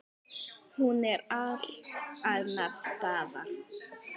Hún er allt annars staðar.